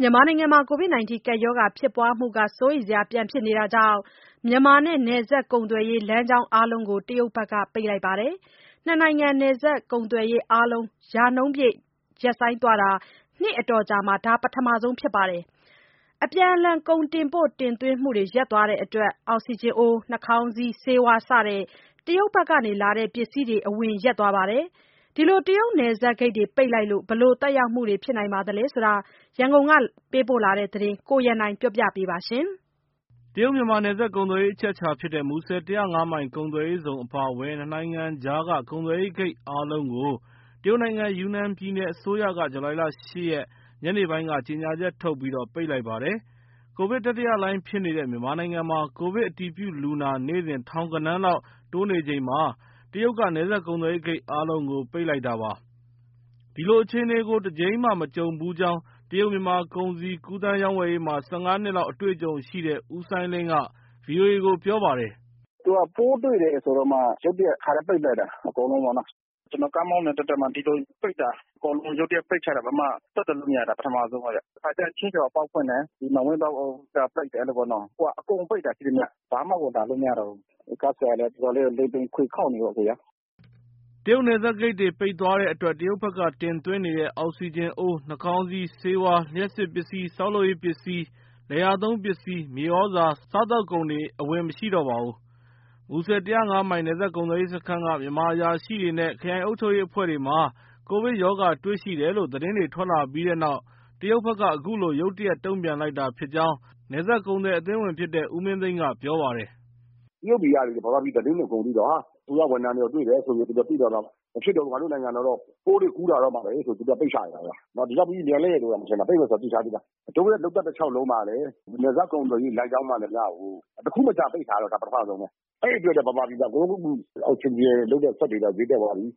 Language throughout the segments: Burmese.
မြန်မာနိုင်ငံမှာ ကိုဗစ်ကပ်ရောဂါဖြစ်ပွားမှု စိုးရိမ်စရာ ပြန်ဖြစ်နေတာကြောင့် မြန်မာနဲ့ နယ်စပ်ကုန်သွယ်ရေး လမ်းကြောင်းအားလုံးကို တရုတ်ဘက်က ပိတ်လိုက်ပါတယ်။ နှစ်နိုင်ငံ နယ်စပ်ကုန်သွယ်ရေးအားလုံး ရာနှုန်းပြည့် ရပ်ဆိုင်းသွားတာ နှစ်အတော်ကြာမှာ ဒါ ပထမဆုံးအကြိမ်ဖြစ်ပါတယ်။ အပြန်အလှန် ကုန်တင်ပို့ တင်သွင်းမှုတွေ ရပ်သွားတဲ့အတွက် အောက်စီဂျင်အိုး၊ နှာခေါင်းစည်း၊ ဆေးဝါး စတဲ့ တရုတ်ဘက်ကလာတဲ့ ပစ္စည်းတွေ အဝင်ရပ်သွားပါတယ်။ တရုတ်နယ်စပ်ဂိတ်တွေ ပိတ်လိုက်လို့ ဘယ်လိုသက်ရောက်မှုတွေဖြစ်နေသလဲဆိုတဲ့ ရန်ကုန်ကပေးပို့တဲ့သတင်းကို ကိုရန်နိုင်က ပြောပြပါမယ်။ တရုတ်- မြန်မာနယ်စပ်ကုန်သွယ်ရေး အချက်အချာဖြစ်တဲ့ မူဆယ် ၁၀၅ မိုင် ကုန်သွယ်ရေးဇုန်အပါအဝင် နှစ်နိုင်ငံကြားက ကုန်သွယ်ဂိတ်အားလုံးကို တရုတ်နိုင်ငံ ယူနန်ပြည်နယ်အစိုးရက ဇူလိုင်လ ၈ ရက် ညနေပိုင်းက ကြေညာချက်ထုတ်ပြီး ပိတ်လိုက်ပါတယ်။ ကိုဗစ်တတိယလှိုင်းဖြစ်နေတဲ့ မြန်မာနိုင်ငံမှာ ကိုဗစ်အတည်ပြုလူနာ နေ့စဉ် ထောင်ဂဏန်းလောက် တိုးနေချိန် တရုတ်က နယ်စပ်ကုန်သွယ်ရေးဂိတ်အားလုံးကို ပိတ်လိုက်တာပါ။ ဒီလိုအခြေအနေကို တကြိမ်မှမကြုံဖူးကြောင်း တရုတ်-မြန်မာ ကုန်စည်ကူးသန်း၊ ရောင်းဝယ်ရေးမှာ ၁၅ နှစ်လောက် အတွေ့အကြုံရှိတဲ့ ဦးစိုင်းလင်းက ဗွီအိုအေကိုပြောပါတယ်။ “သူက ပိုးတွေ့တယ်ဆိုတော့မှ ရုတ်တရက် တခါတည်းပိတ်လိုက်တာ။ အကုန်လုံးပေါ့နော်။ ကျနော် ကားမောင်းနေတဲ့တသက်မှာ ဒီလိုပိတ်တာ အကုန်လုံး ရုတ်တရက်ပိတ်ချတာ လုံးဝဆက်သွယ်လို့မရတာ ပထမဦးဆုံးပဲဗျ။ တခါတလေကျ ချင်းရွှေဟော်အပေါက်ဖွင့်တယ်၊ မန်ဝိန်းပေါက်က ပိတ်တယ် အဲလိုပေါ့နော်။ အခုက အကုန်ပိတ်တာ ရှိသမျှ။ ဘာမှကို ဝင်လာလို့ မရတော့ဘူး။ ကားဆရာတွေလည်း အတော်လေးကို လိမ်ပိန်ခွေခေါက်နေရောပဲ။” တရုတ်နယ်စပ်ဂိတ်တွေပိတ်သွားတဲ့အတွက် တရုတ်ဘက်က တင်သွင်းနေတဲ့ အောက်စီဂျင်အိုး၊ နှာခေါင်းစည်း၊ ဆေးဝါး၊ လျှပ်စစ်ပစ္စည်း၊ ဆောက်လုပ်ရေးပစ္စည်း၊ လယ်ယာသုံးပစ္စည်း၊ မြေဩဇာ၊ စားသောက်ကုန်တွေ အဝင်မရှိတော့ပါဘူး။ မူဆယ် ၁၀၅ မိုင် နယ်စပ်ကုန်သွယ်ရေးစခန်းက မြန်မာအရာရှိတွေနဲ့ ခရိုင်အုပ်ချုပ်ရေးအဖွဲ့တွေမှာ ကိုဗစ်ရောဂါတွေ့ရှိတယ်လို့ သတင်းတွေထွက်လာပြီးနောက် တရုတ်ဘက်က အခုလိုရုတ်တရက် တုံ့ပြန်လိုက်တာဖြစ်ကြောင်း နယ်စပ်ကုန်သည်အသင်းဝင်ဖြစ်တဲ့ ဦးမင်းသိန်းက ပြောပါတယ်။ “တရုတ်တွေက မြန်မာပြည်သတင်းကို အကုန်သိတော့ အစိုးရဝန်ထမ်းတွေပါ တွေ့တယ်ဆိုပြီး သိတော့ မဖြစ်တော့ဘူး ငါတို့နိုင်ငံတော့ ပိုးတွေကူးလာတော့မှာပဲဆိုပြီး သူတို့ကပိတ်ချလိုက်တာ။ ဒီလောက်မြန်မယ်လို့တောင် မထင်တာ၊ ပိတ်မယ်ဆိုတာ သိထားပြီးသား။ တို့ရဲ့ လုပ်သက်တလျှောက်လုံးမှာလည်း နယ်စပ်ကုန်သွယ်ရေးလမ်းကြောင်းမှန်သမျှကို တခုမကျန်ပိတ်တာ ဒါပထမဆုံးပဲ။ အဲဒီအတွက် မြန်မာပြည်မှာ အကုန်လုံး အောက်စီဂျင်စက်တွေ ဈေးတက်သွားပြီ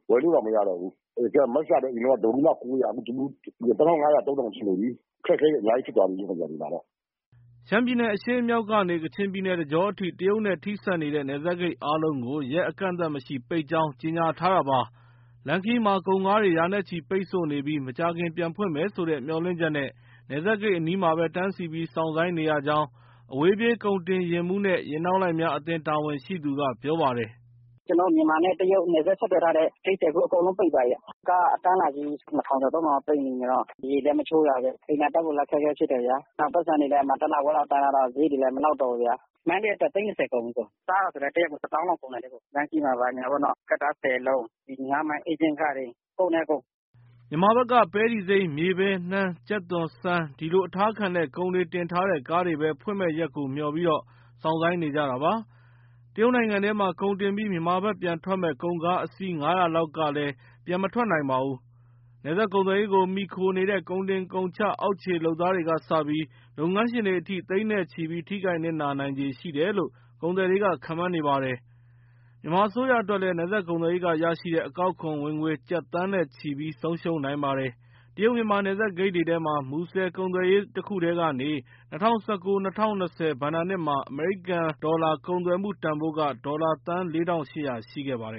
ဝယ်လို့တောင်မရတော့ဘူး။ Mask ကလည်းအရင်က တဗူးမှ ၉၀၀ အခု ၂၅၀၀/၃၀၀၀ ရှိနေပြီ။ အခက်အခဲတွေ အများကြီးဖြစ်သွားပြီ။” ရှမ်းပြည်နယ် အရှေ့မြောက်ကနေ ကချင်ပြည်နယ် တကြောအထိ တရုတ်နဲ့ထိစပ်နေတဲ့ နယ်စပ်ဂိတ်အားလုံးကို ရက်အကန့်အသတ်မရှိ ပိတ်ကြောင်း ကြေညာထားတာပါ။ လမ်းခရီးမှာ ကုန်ကားတွေ ရာနဲ့ချီ ပိတ်ဆို့နေပြီး မကြာခင်ပြန်ဖွင့်မယ်ဆိုတဲ့ မျှော်လင့်ချက်နဲ့ နယ်စပ်ဂိတ်အနီးမှာပဲ တန်းစီပြီး စောင့်ဆိုင်းနေရကြောင်း အဝေးပြေး ကုန်တင်ယာဉ်မှူးနဲ့ ယာဉ်နောက်လိုက်များအသင်း တာဝန်ရှိသူက ပြောပါတယ်။ “ကျနော်တို့ မြန်မာနဲ့တရုတ် နယ်စပ်ဆက်သွယ်ထားတဲ့ဂိတ်တွေ အကုန်ပိတ်သွားပြီ။ ကားအတန်းလိုက်ကြီး ၂၀၀၀ ကျော် ၃၀၀၀ လောက် ပိတ်မိနေတော့ ရေလည်းမချိုးရဘူး၊ အိမ်သာတက်ဖို့လည်း အခက်အခဲဖြစ်တယ်၊ ပိုက်ဆံတွေလည်း တလခွဲလောက်တန်းထားတော့ စရိတ်တွေလည်း မလောက်တော့ဘူး။။ မန္တလေးက တက်လာတာ သိန်း ၂၀ ကုန်ပြီ။ စားတာက တရက် တသောင်းလောက်ကုန်တယ်။ လမ်းခရီးမှာ ဘာညာကတ္တားဆယ်လုံး၊ ငါးမိုင်ဧချင်းခတွေ ကုန်တယ်အစ်ကို။” မြန်မာဘက်က ပဲတီစိမ်း၊ မြေပဲ၊ နှမ်း၊ ကြက်သွန်၊ ဆန် ဒီလိုအထားခံတဲ့ ကုန်တွေတင်ထားတဲ့ကားတွေပဲ ဖွင့်မယ့်ရက်ကိုမျှော်ပြီး စောင့်ဆိုင်းနေကြတာပါ။ တရုတ်နိုင်ငံထဲမှာ ကုန်တင်ပြီး မြန်မာဘက်ပြန်ထွက်မယ့် ကုန်ကားအစီး ၅၀၀ လောက်ကလည်း ပြန်မထွက်နိုင်ပါဘူး။ နယ်စပ်ကုန်သွယ်ရေးကို မှီခိုနေတဲ့ ကုန်တင်ကုန်ချ အောက်ခြေလုပ်သားတွေကစပြီး လုပ်ငန်းရှင်တွေအထိ သိန်းနဲ့ချီပြီး ထိခိုက်နစ်နာနိုင်ခြေရှိတယ်လို့ ကုန်သည်တွေက ခန့်မှန်းပါတယ်။ မြန်မာအစိုးရအတွက်လည်း နယ်စပ်ကုန်သွယ်ရေးကရရှိတဲ့ အကောက်ခွန်ဝင်ငွေ ကျပ်သန်းနဲ့ချီပြီး ဆုံးရှုံးနိုင်ပါတယ်။ တရုတ်- မြန်မာ နယ်စပ်ဂိတ်တွေထဲမှာ မူဆယ်ကုန်သွယ်ရေး တခုတည်းကနေ ၂၀၁၉-၂၀၂၀ ဘဏ္ဍာနှစ်မှာ အမေရိကန်ဒေါ်လာ ကုန်သွယ်မှုတန်ဖိုးက ဒေါ်လာသန်း ၄,၈၀၀ ရှိခဲ့ပါတယ်